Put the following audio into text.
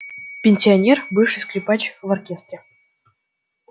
пенсионер бывший скрипач в оркестре